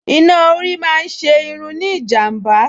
Iná orí máa ń ṣe irun ní ìjàm̀bá